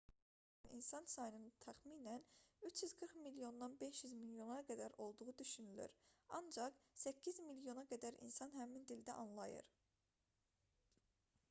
bu dildə danışmağı bacaran insan sayının təxminən 340 milyondan 500 milyona qədər olduğu düşünülür ancaq 800 milyona qədər insan həmin dildə anlayır